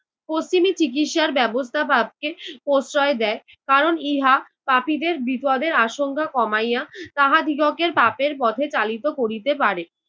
পশ্চিমি চিকিৎসার ব্যবস্থা পাপকে প্রশ্রয় দেয় কারণ ইহা পাপীদের বিপদের আশংকা কমাইয়া তাহাদিগকের পাপের পথে চালিত করিতে পারে।